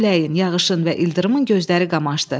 Küləyin, yağışın və ildırımın gözləri qamaşdı.